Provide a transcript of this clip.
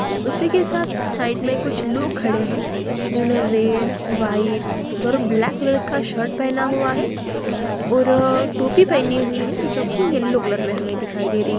उसी के साथ साइड में कुछ लोग खड़े है जिन्होंने red white black colour shirt पहना हुआ है और टोपी पहनी हुई है जो कि येलो कलर में हमें दिखाई दे रही है।